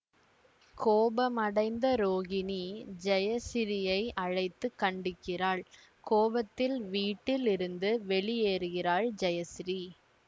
கோபமடைந்த ரோகிணி ஜெயசிறீயை அழைத்து கண்டிக்கிறாள் கோபத்தில் வீட்டில் இருந்து வெளியேறுகிறாள் ஜெயசிறீ